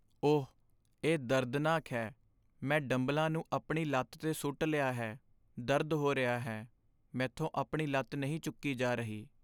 ਓਹ! ਇਹ ਦਰਦਨਾਕ ਹੈ। ਮੈਂ ਡੰਬਲਾਂ ਨੂੰ ਆਪਣੀ ਲੱਤ 'ਤੇ ਸੁੱਟ ਲਿਆ ਹੈ, ਦਰਦ ਹੋ ਰਿਹਾ ਹੈ। ਮੈਂਥੋਂ ਆਪਣੀ ਲੱਤ ਨਹੀਂ ਚੁੱਕੀ ਜਾ ਰਹੀ।